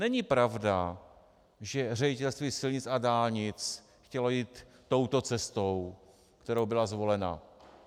Není pravda, že Ředitelství silnic a dálnic chtělo jít touto cestou, která byla zvolena.